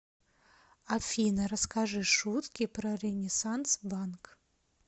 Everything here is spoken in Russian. афина расскажи шутки про ренессанс банк